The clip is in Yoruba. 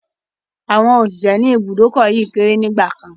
Àwọn òṣìṣẹ́ ni ibùdókọ̀ yìí kéré nígbàkan.